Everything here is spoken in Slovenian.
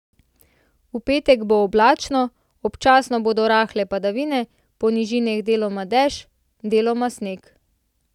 V petek bo oblačno, občasno bodo rahle padavine, po nižinah deloma dež, deloma sneg.